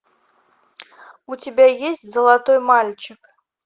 у тебя есть золотой мальчик